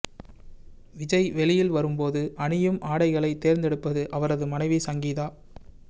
விஜய் வெளியில் வரும்போது அணியும் ஆடைகளை தேர்ந்தெடுப்பது அவரது மனைவி சங்கீதா